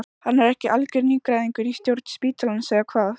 Hann er ekki algjör nýgræðingur í stjórn spítalans eða hvað?